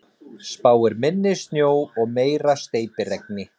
Spáir minni snjó og meira steypiregni